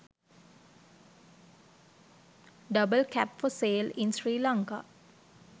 double cab for sale in sri lanka